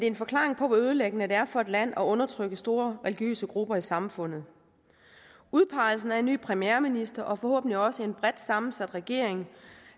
en forklaring på hvor ødelæggende det er for et land at undertrykke store religiøse grupper i samfundet udpegelsen af en ny premierminister og forhåbentlig også en bredt sammensat regering